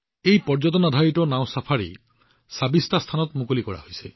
এই পৰ্যটনআধাৰিত নাও চাফাৰীবোৰ ২৬টা স্থানত মুকলি কৰা হৈছে